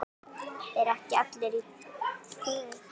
ERU EKKI ALLIR Í GUÐI?